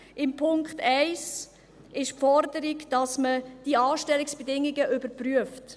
In Punkt 1 ist die Forderung enthalten, dass man die Anstellungsbedingungen überprüft.